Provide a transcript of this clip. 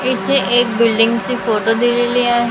इथे एक बिल्डींगची फोटो दिलेली आहे .